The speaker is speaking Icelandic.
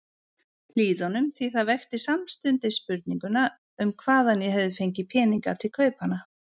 Hlíðunum, því það vekti samstundis spurninguna um hvaðan ég hefði fengið peninga til kaupanna.